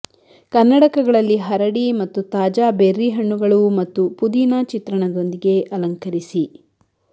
ಕನ್ನಡಕಗಳಲ್ಲಿ ಹರಡಿ ಮತ್ತು ತಾಜಾ ಬೆರ್ರಿ ಹಣ್ಣುಗಳು ಮತ್ತು ಪುದೀನ ಚಿತ್ರಣದೊಂದಿಗೆ ಅಲಂಕರಿಸಿ